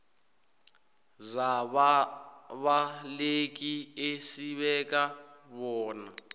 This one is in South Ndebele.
zababaleki esibeka bona